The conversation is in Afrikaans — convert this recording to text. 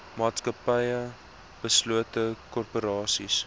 maatskappye beslote korporasies